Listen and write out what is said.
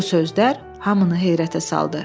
Bu sözlər hamını heyrətə saldı.